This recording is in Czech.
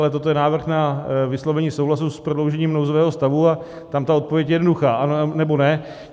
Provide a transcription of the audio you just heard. Ale toto je návrh na vyslovení souhlasu s prodloužením nouzového stavu a tam ta odpověď je jednoduchá, ano, nebo ne.